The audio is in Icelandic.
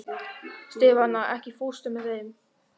Stefana, ekki fórstu með þeim?